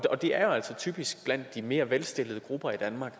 og det er altså typisk de mere velstillede grupper i danmark